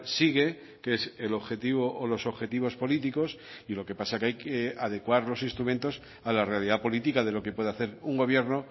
sigue que es el objetivo o los objetivos políticos y lo que pasa que hay que adecuar los instrumentos a la realidad política de lo que puede hacer un gobierno